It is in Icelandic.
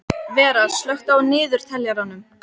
Vera, slökktu á niðurteljaranum.